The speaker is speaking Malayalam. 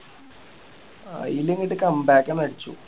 അയില് പോയിട്ട് come back ആണ് അടിച്ചു